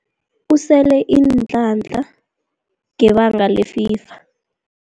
Usele iinhlahla ngebanga lefiva.